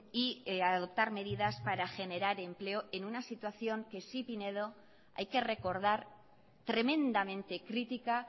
y adoptar medidas para generar empleo en una situación que sí pinedo hay que recordar tremendamente crítica